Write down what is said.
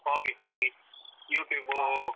Hobby hobby YouTube.